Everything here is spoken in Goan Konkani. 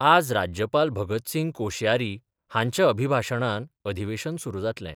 आज राज्यपाल भगतसिंग कोशयारी हांच्या अभिभाशणान अधिवेशन सुरु जातलें.